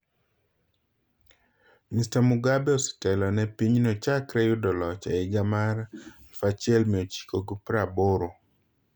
Mr Mugabe osetelo ne pinyno chakre yudo loch e higa mar 1980.